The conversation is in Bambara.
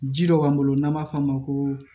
Ji dɔ b'an bolo n'an b'a f'a ma ko